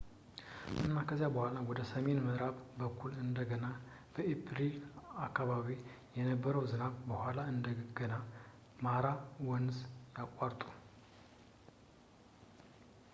እና ከዚያ በኋላ ወደ ሰሜን በምዕራብ በኩል እንደገና በኤፕሪል አከባቢ ከነበረው ዝናብ በኋላ እንደገና ማራ ወንዝን ያቋርጡ